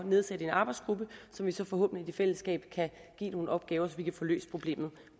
nedsætte en arbejdsgruppe som vi så forhåbentlig i fællesskab kan give nogle opgaver så vi kan få løst problemet